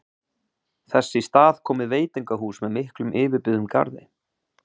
Þess í stað komið veitingahús með miklum yfirbyggðum garði